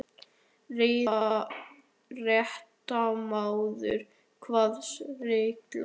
Fréttamaður: Hvaða regla?